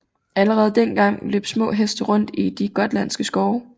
Allerede dengang løb små heste rundt i de gotlandske skove